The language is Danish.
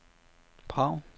Prag